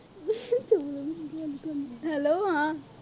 hello ਹਾਂ।